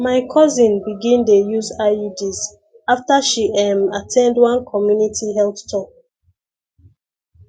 my cousin begin dey use iuds after she ehm at ten d one community health talk